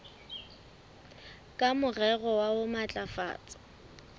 ka morero wa ho matlafatsa